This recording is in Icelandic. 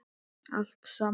Allt saman.